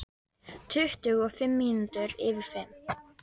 Tuttugu og fimm mínútur yfir fimm